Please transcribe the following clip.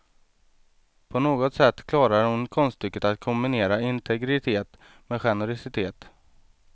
På något sätt klarar hon konststycket att kombinera integritet med generositet.